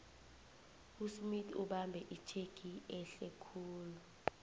usmith ubambe itjhegi ehlekhulu